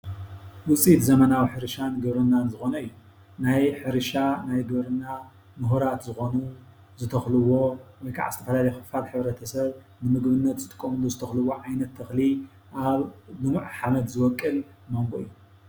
ውፅኢት ዘመናዊ ሕርሻን ግብርናን ዝኾነ እዩ፡፡ ናይ ሕርሻ ናይ ግብርና ሙሁራት ዝኾኑ ዝተኽልዎ ወይ ከዓ ዝተፈላለየ ኽፋል ሕብረተሰብ ንምግብነት ዝጥቀምሉ ዓይነት ዝተኽልዎ ተኽሊ ኣብ ልሙዕ ሓምድ ዝወቅል ማንጎ እዩ፡፡